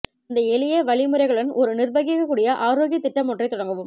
இந்த எளிய வழிமுறைகளுடன் ஒரு நிர்வகிக்கக்கூடிய ஆரோக்கிய திட்டம் ஒன்றைத் தொடங்கவும்